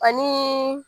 Ani